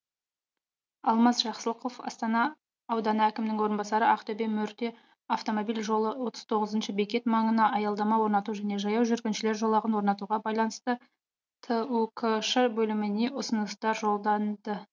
алмаз жақсылықов астана ауданы әкімінің орынбасары ақтөбе мәртө автомобиль жолы отыз тоғызыншы бекет маңына аялдама орнату және жаяу жүргіншілер жолағын орнатуға байланысты түкш бөліміне ұсынысты жолданды